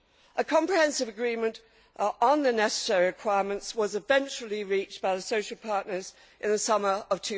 A comprehensive agreement on the necessary requirements was eventually reached by the social partners in the summer of